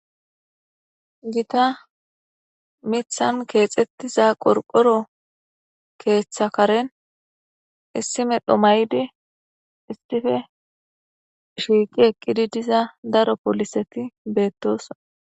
Gita mithan keexxettiza qorqoro keeththakaren issime dhomayde istife shiiqi ekidi diza daro poliseti beettoson.